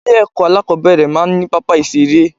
Ilé èkó alákòóbèrè máa ní pápá ìseré